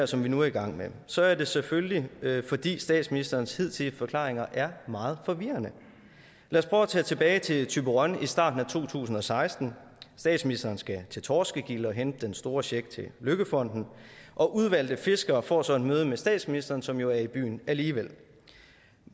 som vi nu er i gang med så er det selvfølgelig fordi statsministerens hidtidige forklaringer er meget forvirrende lad os at tilbage til thyborøn i starten af to tusind og seksten statsministeren skal til torskegilde og hente den store check til løkkefonden og udvalgte fiskere får så et møde med statsministeren som jo er i byen alligevel